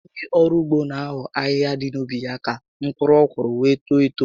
Ònye ọrụ ugbo n'eho ahịhịa dị na ubi ya ka mkpụrụ ọkụrụ were too etoo